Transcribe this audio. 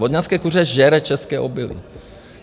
Vodňanské kuře žere české obilí.